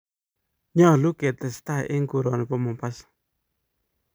nyoluu ketestai eng koroni bo Mombasa